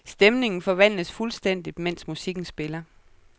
Stemningen forvandles fuldstændigt, mens musikken spiller.